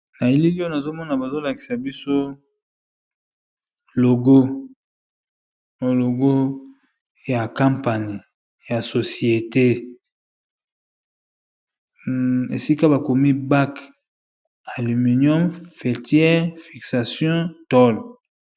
na elili oyo azomona bazolakisa biso logoologo ya campane ya societe esika bakomi bak alluminium fetiere fixation tole